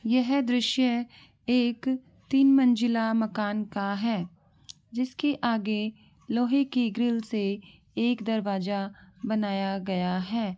यह दृश्य एक तीन मंजिला मकान का है जिसके आगे लोहे की ग्रील से एक दरवाजा बनाया गया है।